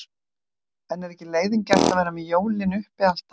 En er ekki leiðigjarnt að vera með jólin uppi allt árið?